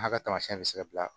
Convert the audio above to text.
A ka tamasiyɛn bɛ se ka bila